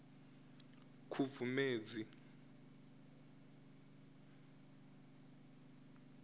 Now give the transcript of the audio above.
khubvumedzi